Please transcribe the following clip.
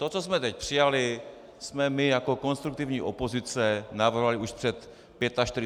To, co jsme teď přijali, jsme my jako konstruktivní opozice navrhovali už před 45 minutami.